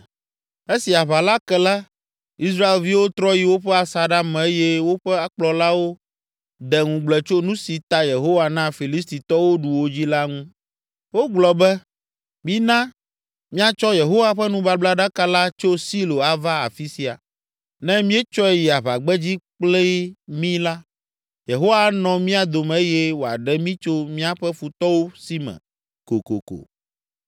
Esi aʋa la ke la, Israelviwo trɔ yi woƒe asaɖa me eye woƒe kplɔlawo de ŋugble tso nu si ta Yehowa na Filisitɔwo ɖu wo dzi la ŋu. Wogblɔ be, “Mina míatsɔ Yehowa ƒe nubablaɖaka la tso Silo ava afi sia. Ne míetsɔe yi aʋagbedzi kpli mí la, Yehowa anɔ mía dome eye wòaɖe mí tso míaƒe futɔwo si me kokoko.”